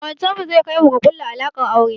Ƙawancen mu zai kai mu ga ƙulla alaƙar aure